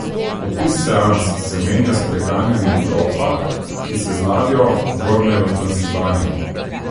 Opis seans se menja s preganjanjem grofa, ki se z ladjo vrne v Transilvanijo.